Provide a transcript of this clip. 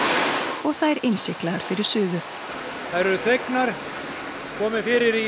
og þær innsiglaðar fyrir suðu þær eru þvegnar og komið fyrir í